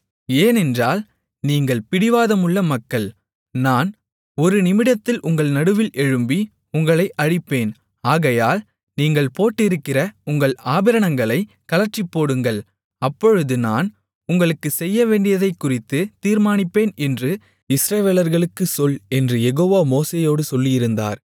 ஏனென்றால் நீங்கள் பிடிவாதமுள்ள மக்கள் நான் ஒரு நிமிடத்தில் உங்கள் நடுவில் எழும்பி உங்களை அழிப்பேன் ஆகையால் நீங்கள் போட்டிருக்கிற உங்கள் ஆபரணங்களைக் கழற்றிப்போடுங்கள் அப்பொழுது நான் உங்களுக்குச் செய்யவேண்டியதைக்குறித்துத் தீர்மானிப்பேன் என்று இஸ்ரவேலர்களுக்குச் சொல் என்று யெகோவா மோசேயோடு சொல்லியிருந்தார்